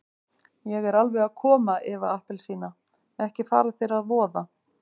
Ég er alveg að koma Eva appelsína, ekki fara þér að voða.